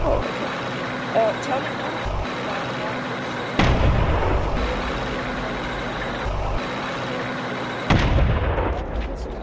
Tjáning margra var, einsog við er að búast á meðferðarstofnun, ekki upp á marga fiska.